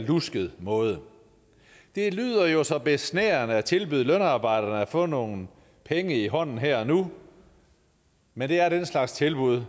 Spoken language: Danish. lusket måde det lyder jo så besnærende at tilbyde lønarbejderne at få nogle penge i hånden her og nu men det er den slags tilbud